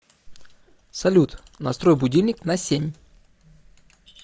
салют настрой будильник на семь